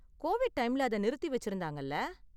Covid டைம்ல அதை நிறுத்தி வெச்சிருந்தாங்கல்ல.